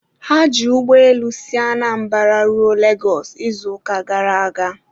ha ji ụgbọelu si Anambra ruo Lagos izuụka gara aga